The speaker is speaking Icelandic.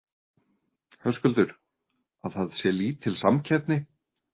Höskuldur: Að það sé lítil samkeppni?